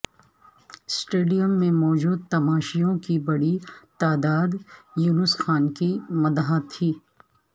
stadium میں موجود تماشائیوں کی بڑی تعداد یونس خان کی مداح تھی